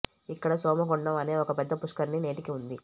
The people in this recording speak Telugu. ఇక్కడ సోమ కుండం అనే ఒక పెద్ద పుష్కరిణి నేటికీ ఉంది